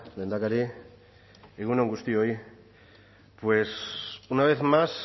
lehendakari egun on guztioi pues una vez más